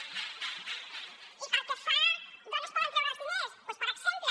i pel que fa a d’on es poden treure els diners doncs per exemple